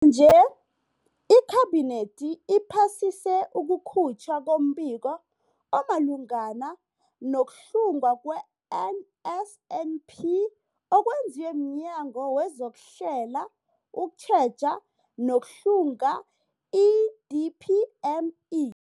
nje, iKhabinethi iphasise ukukhutjhwa kombiko omalungana nokuhlungwa kwe-NSNP okwenziwe mNyango wezokuHlela, ukuTjheja nokuHlunga, i-DPME.